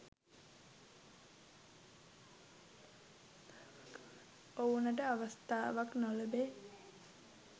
ඔවුනට අවස්ථාවක් නොලැබෙයි